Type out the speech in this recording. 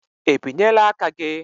E binyela aka gị?